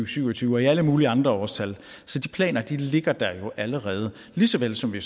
syv og tyve og alle mulige andre årstal så de planer ligger der jo allerede lige såvel som vi